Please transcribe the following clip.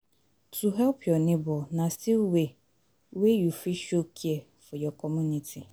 To help your neighbor na still way way you fit show care for your community